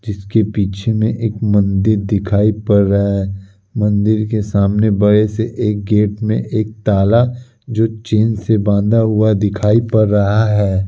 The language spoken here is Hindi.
जिसके पीछे में एक मंदिर दिखाई पड़ रहा है। मंदिर के सामने एक बड़े से एक गेट में एक ताला जो चैन से बांधा हुआ दिखाई पड़ रहा है।